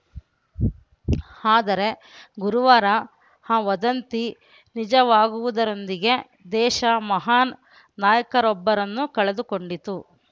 ಆದರೆ ಗುರುವಾರ ಆ ವದಂತಿ ನಿಜವಾಗುವುದರೊಂದಿಗೆ ದೇಶ ಮಹಾನ್‌ ನಾಯಕರೊಬ್ಬರನ್ನು ಕಳೆದುಕೊಂಡಿತು